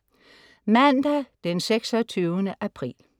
Mandag den 26. april